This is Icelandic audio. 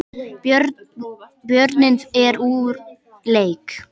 Björninn er úr leik